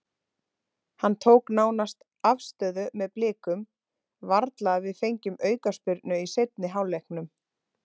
Hann tók nánast afstöðu með Blikum, varla að við fengjum aukaspyrnu í seinni hálfleiknum.